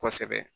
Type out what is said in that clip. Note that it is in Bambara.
Kosɛbɛ